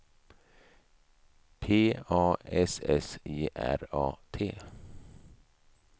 P A S S E R A T